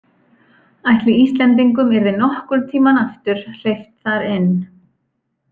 Ætli Íslendingum yrði nokkurn tímann aftur hleypt þar inn?